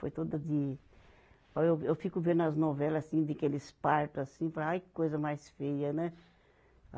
Foi toda de, olha eu, eu fico vendo as novela, assim, daqueles parto, assim, falo ai, que coisa mais feia, né?